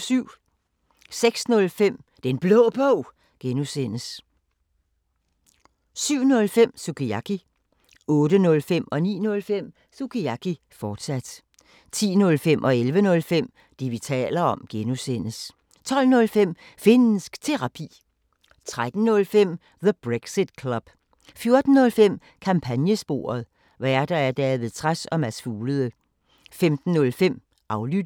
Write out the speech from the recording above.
06:05: Den Blå Bog (G) 07:05: Sukiyaki 08:05: Sukiyaki, fortsat 09:05: Sukiyaki, fortsat 10:05: Det, vi taler om (G) 11:05: Det, vi taler om (G) 12:05: Finnsk Terapi 13:05: The Brexit Club 14:05: Kampagnesporet: Værter: David Trads og Mads Fuglede 15:05: Aflyttet